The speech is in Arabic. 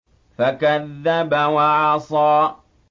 فَكَذَّبَ وَعَصَىٰ